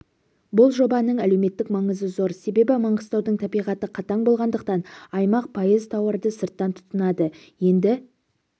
бұл жобаның әлеуметтік маңызы зор себебі маңғыстаудың табиғаты қатаң болғандықтан аймақ пайыз тауарды сырттан тұтынады енді